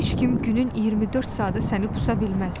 Heç kim günün 24 saatı səni pusa bilməz.